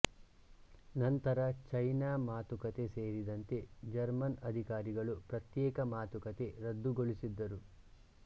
ನಂತರ ಚೈನಾ ಮಾತುಕತೆ ಸೇರಿದಂತೆ ಜರ್ಮನ್ ಅಧಿಕಾರಿಗಳು ಪ್ರತ್ಯೇಕ ಮಾತುಕತೆ ರದ್ದುಗೊಳಿಸಿದ್ದರು